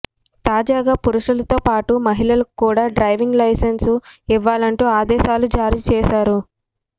తాజాగా పురుషులతో పాటు మహిళలకు కూడా డ్రైవింగ్ లైసెన్స్ ఇవ్వాలంటూ ఆదేశాలు జారీ చేశారు